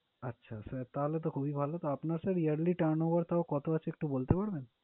আচ্ছা sir তাহলে তো খুবই ভালো। তা আপনার yearly turnover টাও কত আছে একটু বলতে পারবেন?